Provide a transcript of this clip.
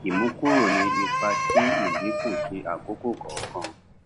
ìmúkúrò ní ipa ti ìdínkù ti àkókò kọọkan